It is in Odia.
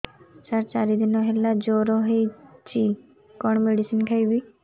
ସାର ଚାରି ଦିନ ହେଲା ଜ୍ଵର ହେଇଚି କଣ ମେଡିସିନ ଖାଇବି